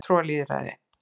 fulltrúalýðræði